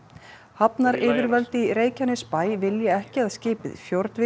hafnaryfirvöld í Reykjanesbæ vilja ekki að skipið